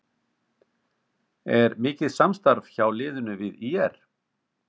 Er mikið samstarf hjá liðinu við ÍR?